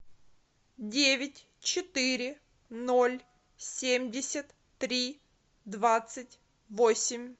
девять четыре ноль семьдесят три двадцать восемь